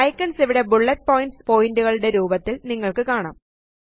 icons ഇവിടെ bullet points പോയിന്റുകളുടെ രൂപത്തിലും നിങ്ങള്ക്ക് കാണാം